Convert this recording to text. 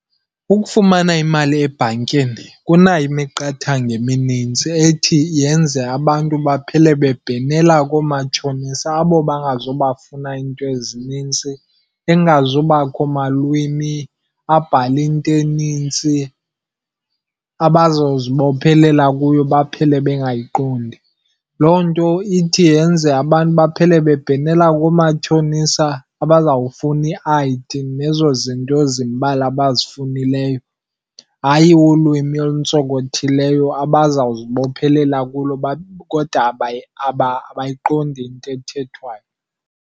Ukufumana imali ebhankini kunayo imiqathango eminintsi ethi yenze abantu baphele bebhenela koomatshonisa abo bangazubafuna iinto ezinintsi, engazubakho malwimi, abhale into enintsi abazozibophelela kuyo baphele bengayiqondi. Loo nto ithi yenze abantu baphele bebhenela koomatshonisa abazawufuna i-I_D nezo zinto zimbalwa abazifunuleyo. Hayi ulwimi olutsonkothileyo abazawuzibophelela kulo kodwa abayiqondi into ethethwayo.